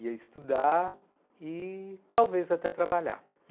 ia estudar e talvez até trabalhar.